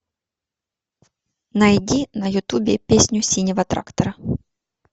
найди на ютубе песню синего трактора